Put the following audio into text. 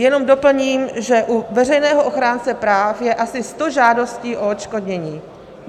Jenom doplním, že u veřejného ochránce práv je asi sto žádostí o odškodnění.